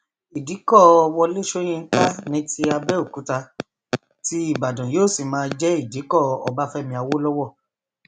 ìdìkọ wọlé sọyìnkà ní ti àbẹòkúta ti ìbàdàn yóò sì máa jẹ ìdìkọ ọbáfẹmi awolowo